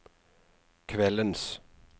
kveldens